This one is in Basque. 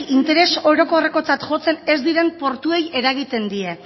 interes orokorrekotzat jotzen ez diren portuei eragiten die